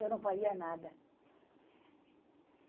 Eu não faria nada.